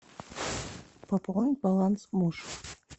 пополнить баланс муж